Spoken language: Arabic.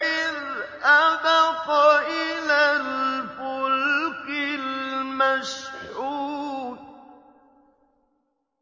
إِذْ أَبَقَ إِلَى الْفُلْكِ الْمَشْحُونِ